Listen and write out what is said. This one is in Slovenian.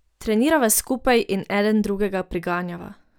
Trenirava skupaj in eden drugega priganjava.